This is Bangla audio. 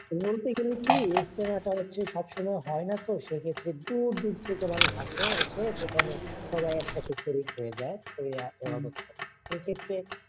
মূলত এখানে হয় কী ইজতেমা টা হচ্ছে সবসময় হয়না তো সেক্ষেত্রে দূর দূর থেকে মানুষ আসে এসে সেখানে সবাই একসাথে শরীক হয়ে যায়, হইয়া হেফাজত করে, এক্ষেত্রে